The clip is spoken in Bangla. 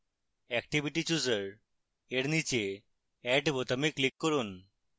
activity chooser এর নীচে add বোতামে click করুন